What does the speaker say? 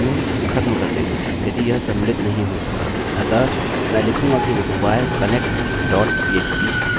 अतः मैं लिखूँगा कि require connect dot php केवल यह कहने के लिए कि यदि आप डेटाबेस से नहीं जुड़ पा रहे हैंबाकी पेज व्यर्थ है